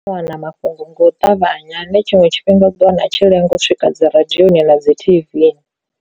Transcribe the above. Ndi u wana mafhungo ngo ṱavhanya ane tshiṅwe tshifhinga u ḓo wana a tshi lenga u swika dzi radioni na dzi T_V.